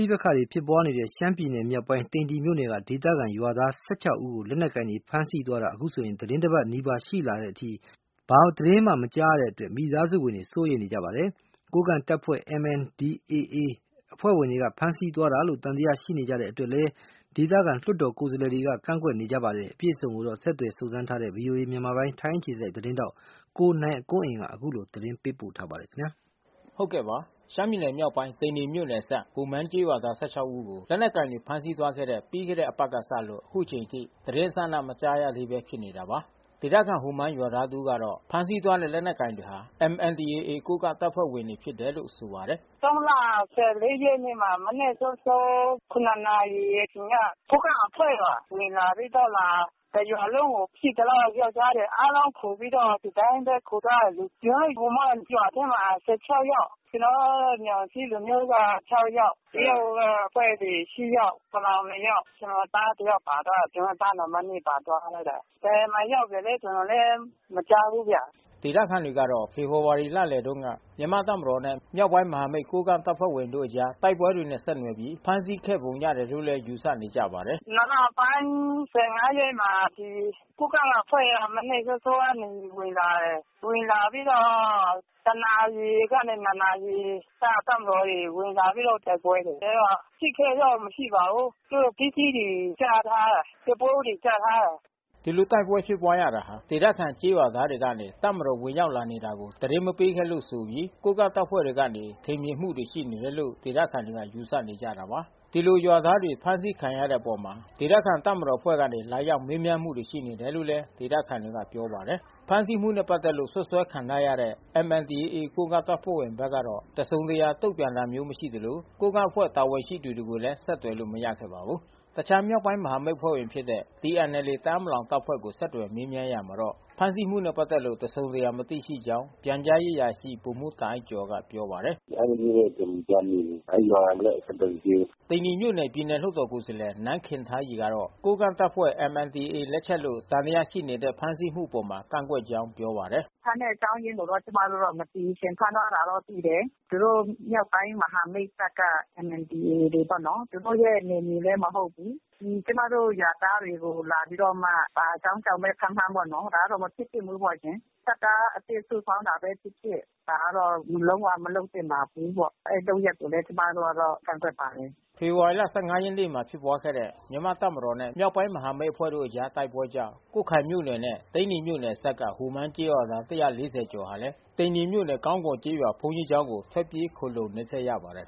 ိပက္ခတွေ ဖြစ်ပွားနေတဲ့ ရှမ်းပြည်နယ်မြောက်ပိုင်း သိန္နီမြို့နယ်က ဒေသခံရွာသား ဦးကို လက်နက်ကိုင်တွေ ဖမ်းဆီးသွားတာသီတင်းတပတ်နီးပါးရှိလာတဲ့အထိ သတင်းမကြားရတဲ့အတွက် မိသားစုဝင်တွေ စိုးရိမ်နေကြပါတယ်။ ကိုးကန့် တပ်ဖွဲ့ MNDAA တပ်ဖွဲ့ဝင်တွေ ဖမ်းဆီးသွားတာလို့ သံသယရှိနေကြတဲ့ အတွက်လည်း ဒေသခံ လွှတ်တော် ကိုယ်စားလှယ် တွေက ကန့်ကွက်နေကြပါတယ်။ အပြည့်အစုံကိုတော့ ဆက်သွယ်စုံစမ်းထားတဲ့ ဗွီအိုအေ မြန်မာပိုင်း၊ ထိုင်းအခြေစိုက် သတင်းထောက် နိုင်ကွန်းအိန် ကသတင်းပေးပို့ ထားပါတယ်။ ရှမ်းပြည်နယ်မြောက်ပိုင်းသိန္နီမြို့နယ်အစပ် ဟိုမန်းကျေးရွာသား ဦးကို လက်နက်ကိုင်တွေဖမ်းဆီးသွားခဲ့တဲ့ ပြီးခဲ့တဲ့ တပတ်ကစလို့ အခုအချိန်အထိ သတင်းအစအန မကြားရသေးပဲ ဖြစ်နေတာပါ။ ဒေသခံဟိုမန်းရွာသား တဦးကတော့ ဖမ်းဆီးသွားတဲ့ လက်နက်ကိုင်တွေဟာ MNDAA ကိုးကန့်တပ်ဖွဲ့ဝင်တွေ ဖြစ်တယ်လို့ ဆိုပါတယ်။ လ ရက်နေ့မှာ မနက်စောစော နာရီအချိန်က ကိုးကန့်အဖွဲ့ပါ ဝင်လာပြီးတော့ကာ တရွာလုံးကို ရှိသမျှ ယောကျ်ား တွေအားလုံးခေါ်ပြီးတော့ ဒီအတိုင်းခေါ်သွားတယ်လေ။ ကျွန်တော်တို့ဟိုမန်းရွာထဲမှာ ယောက်။ ကျွန် တော်တို့ မြောင်ဇီး လူမျိုးက ယောက် တရုတ်ကအဖွဲ့တွေ ယောက် ပလောင် ယောက်။ ကျွန်တော်သား တယောက်ပါသွားတာ။ ကျွန်တော် သားနံပါတ် ပါသွားတာ။ ဘယ်မှာရောက်နေလဲ ကျွန်တော်လဲမကြားဘူးဗျ။” ဒေသခံတွေကတော့ ဖေဖေါ်ဝါရီလလယ်တုန်းက ကိုးကန့်တပ်ဖွဲ့ဝင်တချို့ထိခိုက်မှုတွေကြုံခဲ့ရတဲ့ မြန်မာ့တပ်မတော်နဲ့ မြောက်ပိုင်းမဟာမိတ်အဖွဲ့ဝင်ကိုးကန့်တပ်ဖွဲ့တို့ အကြားတိုက်ပွဲတွေနဲ့ ဆက်နွယ်ပြီး ဖမ်းဆီးခဲ့ပုံရတယ်လို့လည်း ယူဆ နေကြပါတယ်။ လပိုင်း ရက်နေ့မှာ ဒီကိုးကန့်အဖွဲ့က မနက်စောစောကဝင်လာတယ်။ ဝင်လာပြီးတော့တနာရီကနေနှစ်နာရီ တပ်မတော်ကနေဝင်လာပြီးတော့ တိုက်ပွဲတွေ အဲဒီတော့ ထိခိုက်တော့မရှိပါဘူး။ သူတို့ပစ္စည်းတွေချသွားတယ်။ ကျော ပိုးအိတ်တွေချသွားတယ်။" ဒီလိုတိုက်ပွဲဖြစ်ပွါးရတာဟာ ဒေသခံကျေးရွာသားတွေကနေ တပ်မတော်ဝင်ရောက်လာတာကို သတင်းမပေးခဲ့လို့ ဆိုပြီး ကိုးကန့်တပ်ဖွဲ့ ကနေ ထင်မြင်မှုတွေရှိနေတယ်လို့ဒေသခံတွေက ယူဆနေကြတာပါ။ ဒီလိုရွာသားတွေဖမ်းဆီးခံရတဲ့အပေါ် ဒေသခံတပ်မတော်အဖွဲ့ကနေလာရောက်မေးမြန်းမှုတွေရှိနေခဲ့တယ်လို့ ဒေသ ခံ တွေကပြောပါတယ်။ ဖမ်းဆီးမှုနဲ့ ပတ်သက်လို့ စွပ်စွဲခံထားရတဲ့ MNDAA ကိုးကန့်တပ်ဖွဲ့ဘက်ကတော့ တစုံတရာ တုံ့ပြန်တာမျိုး မရှိသလို၊ ကိုးကန့် အဖွဲ့တာဝန်ရှိသူတွေကိုလည်း ဆက်သွယ်လို့မရခဲ့ပါဘူး။ တခြားမြောက်ပိုင်းမဟာမိတ်အဖွဲ့ဝင်ဖြစ်တဲ့ TNLA တအာင်းပလောင်တပ်ဖွဲ့ကို ဆက်သွယ်မေးမြန်းရာမှာတော့ ဖမ်းဆီးမှုနဲ့ ပတ်သက်လို့ တစုံတရာ မသိရှိကြောင်း ပြန်ကြားရေးအရာရှိဗိုလ်မှူးတာ့အိုက်ကျော်ကပြောပါတယ်။ "အဲဒီလိုမျိုးတော့ကျွန်တော်မကြားမိဘူး။ အဲဒီရွာနဲ့အဆက်သွယ်မရှိဘူး။" သိန္နီမြို့နယ် ပြည်နယ်လွှတ်တော်ကိုယ်စားလှယ် နန်းခင်ထားရီကတော့ ကိုးကန့်တပ်ဖွဲ့ MNDAAလက်ချက်လို့ သံသယရှိနေ တဲ့ ဖမ်းဆီးမှုအပေါ် ကန့်ကွက်ကြောင်း ပြောပါတယ်။ "ဖမ်းတဲ့အကြောင်းအရင်းကို ကျွန်မတို့မသိဘူးရှင့်။ ဖမ်းသွားတာတော့သိတယ်။ သူတို့မြောက်ပိုင်းမဟာမိတ်တပ်က MNDAA တွေပေါ့နော်။ သူတို့ရဲ့နယ်မြေလဲမဟုတ်ဘူး။ ကျွန်မတို့ရွာသားတွေကိုလာပြီးတော့မှ ဘာအကြောင်းကြောင့် ဘဲဖမ်းဖမ်းပေါ့နော်။ ဒါကတော့မဖြစ်သင့်ဘူးပေါ့ရှင်။ တပ်သားအသစ်စုဆောင်းတာဘဲဖြစ်ဖြစ်။ ဒါကတော့လုံး၀ မလုပ် သင့်ပါဘုူးပေါ့။ အဲဒီလုပ်ရပ်ကို လဲကျွန်မတို့ ကန့်ကွက် ပါတယ်။" ဖေဖေါ်ဝါရီလ ရက်နေ့မှာဖြစ်ပွါးတဲ့ မြန်မာ့တပ်မတော်နဲ့ မြောက်ပိုင်းမဟာမိတ်အဖွဲ့တို့ကြား တိုက်ပွဲကြောင့် ကွတ်ခိုင်မြို့နယ်နဲ့ သိန္နီမြို့နယ်အစပ်က ဟိုမန်းကျေးရွာသား ၁၄၀ကျော် ဟာလည်း သိန္နှီမြို့နယ်ကောင်းကော်ကျေးရွာ ဘုန်းတော်ကြီး ကျောင်းကို ထွက်ပြေးခိုလှုံနေခဲ့ရပါတယ်